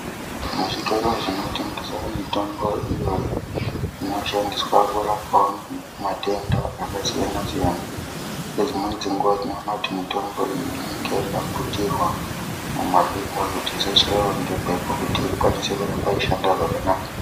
Muzvitoro zvinotengeswa mitombo iyoyi munoshandiswa kurapwawo matenda akaiyanasiyana nedzimweni dzenguwa mitombo iyi inenge yakaputirwa mumapepa kuti isachaiwa ngemhepo kuti ikwanise kugara yeishande zvakanaka.